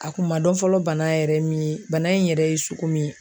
A kun ma dɔn fɔlɔ bana yɛrɛ min ye bana in yɛrɛ ye sugu min